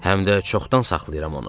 Həm də çoxdan saxlayıram onu.